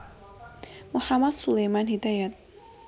Mohamad Suleman Hidayat